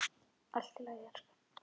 Allt í lagi, elskan.